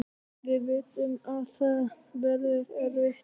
Við vitum að það verður erfitt